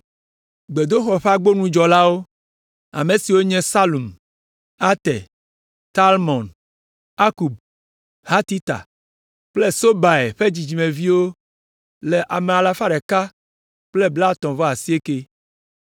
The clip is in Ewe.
Gbedoxɔ ƒe agbonudzɔlawo: Ame siwo nye Salum, Ater, Talmon, Akub, Hatita kple Sobai ƒe dzidzimeviwo la le ame alafa ɖeka kple blaetɔ̃-vɔ-asiekɛ (139).